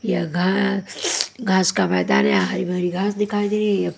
यह घना घास का मैदान हैं यहा हरी भरी घास दिखाई दे रही है।